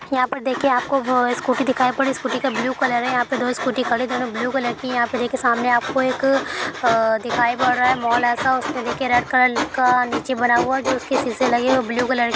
यहा पर देखिए आपको ब स्कूटी दिखाई पड़ रही है। स्कूटी का ब्लू कलर है | यहा पर दो स्कूटी खड़ी है दोनों ब्लू कलर की है। यहा पे देखिए सामने आपको एक अ_अ_देखाई पड़ रहा है मॉल ऐसा उसमे रेड कलर का निचे बना हुआ है। जो उसके शीशे लगे हुए है। Blue colour --